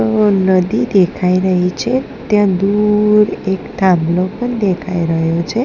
નદી દેખાય રહી છે ત્યાં દૂર એક થાંભલો પણ દેખાય રહ્યો છે.